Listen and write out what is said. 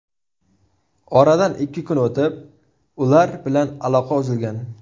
Oradan ikki kun o‘tib, ular bilan aloqa uzilgan.